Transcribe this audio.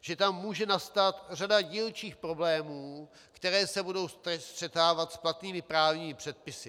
že tam může nastat řada dílčích problémů, které se budou střetávat s platnými právními předpisy.